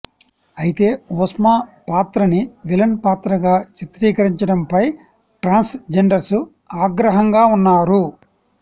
అయితే ఒస్మా పాత్రని విలన్ పాత్రగా చిత్రీకరించడం పై ట్రాన్స్ జెండర్స్ ఆగ్రహంగా ఉన్నారు